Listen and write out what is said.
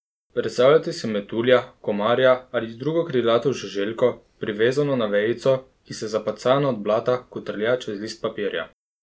Predstavljajte si metulja, komarja ali drugo krilato žuželko, privezano na vejico, ki se, zapacana od blata, kotrlja čez list papirja.